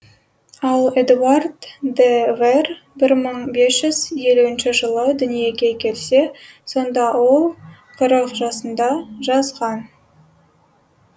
ал эдуард де вер бір мың бес жүз елуінші жылы дүниеге келсе сонда ол қырық жасында жазған